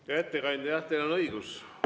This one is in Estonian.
Hea ettekandja, jah, teil on õigus.